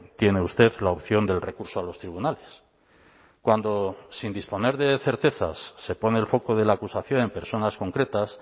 tiene usted la opción del recurso a los tribunales cuando sin disponer de certezas se pone el foco de la acusación en personas concretas